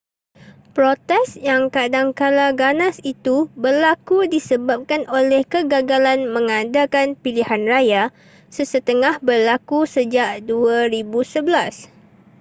protes yang kadangkala ganas itu berlaku disebabkan oleh kegagalan mengadakan pilihan raya sesetengah berlaku sejak 2011